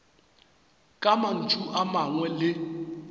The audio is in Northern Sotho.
ka mantšu a mangwe le